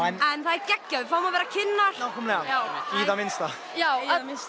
en það er geggjað að við fáum að vera kynnar já nákvæmlega í það minnsta já